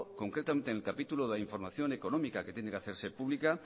concretamente en el capítulo de información económica que tiene que hacerse pública